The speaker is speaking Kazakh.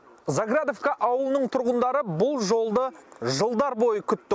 заградовка ауылының тұрғындары бұл жолды жылдар бойы күтті